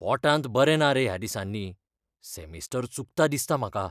पोटांत बरें ना रे ह्या दिसांनी. सेमिस्टर चुकता दिसता म्हाका.